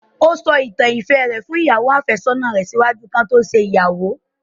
O sọ àwọn ìtàn ìfẹ rẹ fun ìyàwo-àfésónà rẹ ṣaaju ki wọn to ṣe igbeyawo